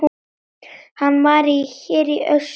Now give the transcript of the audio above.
Hann var hér í austur.